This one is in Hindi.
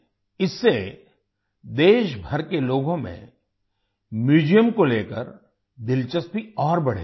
इससे देशभर के लोगों में म्यूजियम को लेकर दिलचस्पी और बढ़ेगी